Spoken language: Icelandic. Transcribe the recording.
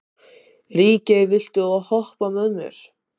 Ríkey, viltu hoppa með mér?